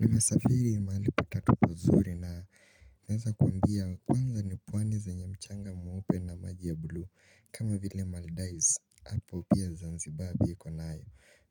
Nimesafiri mahali patatu pazuri na Naweza kuambia kwanza ni pwani zenye mchanga mweupe na maji ya bluu kama vile Maldives apo pia Zanzibar iko nayo,